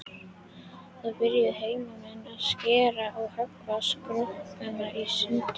Þá byrjuðu heimamenn að skera og höggva skrokkana í sundur.